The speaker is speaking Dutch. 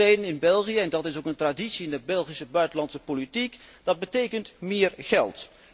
Dan zegt iedereen in België en dat is ook een traditie in de Belgische buitenlandse politiek, dat betekent meer geld.